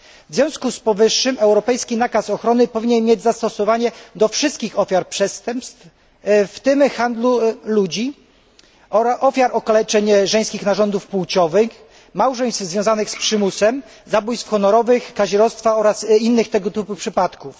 W związku z powyższym europejski nakaz ochrony powinien mieć zastosowanie do wszystkich ofiar przestępstw, w tym handlu ludźmi, ofiar okaleczenia żeńskich narządów płciowych, małżeństw zawartych pod przymusem, zabójstw honorowych, kazirodztwa oraz innych tego typu przypadków.